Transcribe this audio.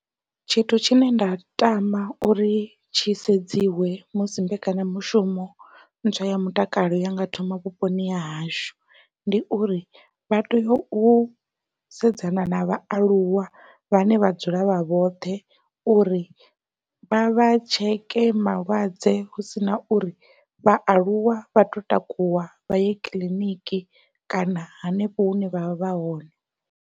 Tshithu tshine nda tama uri tshi sedziwi musi mbekanya mushumo ntswa ya mutakalo ya nga thoma vhuponi hahashu, ndi uri vha tea u sedzana na vhaaluwa vhane vha dzula vha vhoṱhe uri vha vha tsheke malwadze hu sina uri vhaaluwa vha to takuwa vha ye kiḽiniki kana hanefho hune vha vha vha hone.